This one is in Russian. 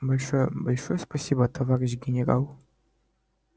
большое большое спасибо товарищ генерал